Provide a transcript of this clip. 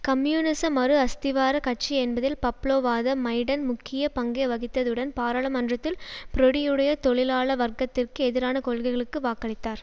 கம்யூனிச மறு அஸ்திவார கட்சி என்பதில் பப்லோவாத மைடன் முக்கிய பங்கை வகித்ததுடன் பாராளுமன்றத்தில் ப்ரொடியுடைய தொழிலாள வர்க்கத்திற்கு எதிரான கொள்கைகளுக்கு வாக்களித்தார்